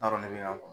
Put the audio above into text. N'a dɔn ne y'a